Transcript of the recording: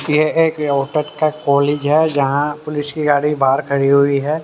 यह एक रोहतक का कॉलेज है जहां पुलिस की गाड़ी बाहर खड़ी हुई है।